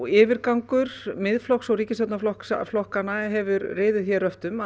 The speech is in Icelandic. yfirgangur Miðflokks og ríkisstjórnarflokkanna hefur riðið hér röftum